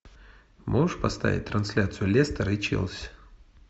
можешь поставить трансляцию лестера и челси